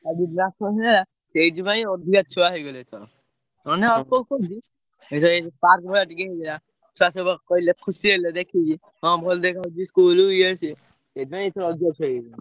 ସବୁ ହେଇଗଲା ସେଇଥିପାଇଁ ଅଧିକା ଛୁଆ ହେଇଗଲେ ଏଥର। ନେହେଲେ ଅଳ୍ପ ଅଛନ୍ତି ଏ ଯୋଉ park ଭଳିଆ ଟିକେ ହେଇଗଲା ଛୁଆ ସବୁ ଖୁସି ହେଲେ ଦେଖିକି ହଁ ଭଲ ଦେଖା ଯାଉଚି school ଇଏ ସିଏ ସେଇଥି ପାଇଁ ଏଥର ଅଧିକା ଛୁଆ ହେଇ ଯାଇଛନ୍ତି।